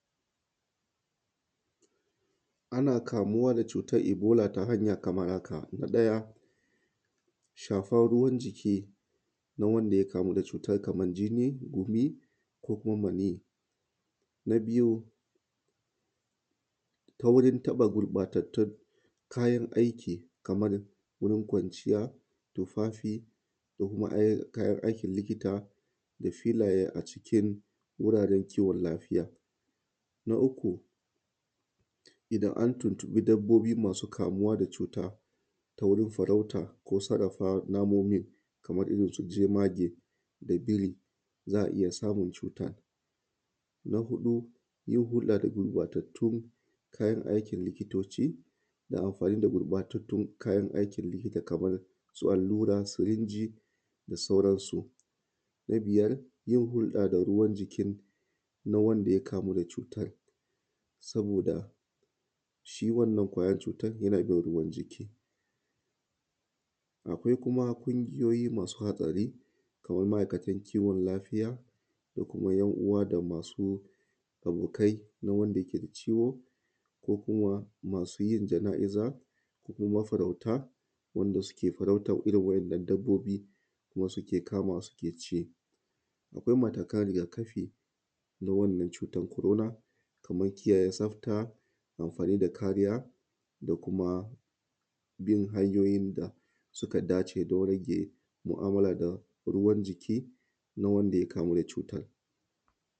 Ana kamuwa da cutar ibola ta hanya kamar haka, na ɗaya, shafar ruwan jiki na wanda ya kamu da cuta kamar jinni, gumi, ko kuma manniyi, na biyu, taurin taɓa gurɓatattun kayan aiki kamar wurin kwanciya, tufafi, ko kuma ai kayan aikin likita, filaye a cikin wuraren kiwon lafiya, na uku, idan an tuntuɓi dabbobi masu kamuwa da cuta ta wurin farauta ko sarrafa namomin kamar irin su jemage da biri za a iya samun cutan, na huɗu yin hurɗa da guɓatattun kayan aikin likitoci da amfani da gurɓatattun kayan aikin likta kamar su allura, sirinji, da sauransu, na biyar yin hurɗa da ruwan jikin na wanda ya kamu da cutan saboda shi wannan kwayar cutan yana bin ruwan jiki, akwai kuma ƙungiyoyi masu hatsari kaman ma`aikatan kiwon lafiya ko kuma `yan uwa da masu abokai na wanda yake da ciwon ko kuma masu yin jana`iza ko kuma mafarauta wanda suke farautan irin waɗannan dabbobi kuma suke kama su suke ci, akwai matakan riga kafina wannan cutan corona kaman kiyaye tsafta amfani da kariya da kuma bin hanyoyin da suka dace don rage ma`amala da ruwan jiki na wanda ya kamu da cutan.